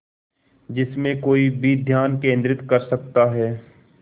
जिसमें कोई भी ध्यान केंद्रित कर सकता है